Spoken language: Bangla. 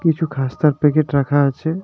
কিছু খাস্তার প্যাকেট রাখা আছে।